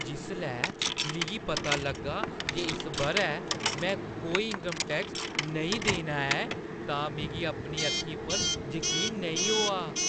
जिसलै मिगी पता लग्गा जे इस बʼरै में कोई इन्कम टैक्स नेईं देना ऐ तां मिगी अपनी अक्खीं उप्पर जकीन नेईं होआ!